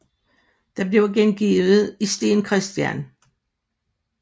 Den bliver gengivet i Steen Chr